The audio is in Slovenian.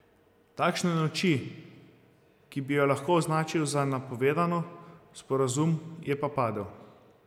Takšne noči, ki bi jo lahko označil za napovedano, sporazum je pa padel.